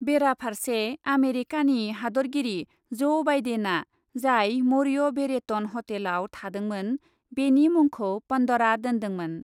बेरा फारसे , आमेरिकानि हादतगिरि ज ' बाइडेनआ जाय मौर्य भेरेटन हटेलआव थादोंमोन , बेनि मुंखौ पन्डरा दोन्दोंमोन ।